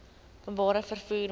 openbare vervoer mark